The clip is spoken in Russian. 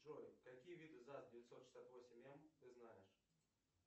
джой какие виды заз девятьсот шестьдесят восемь м ты знаешь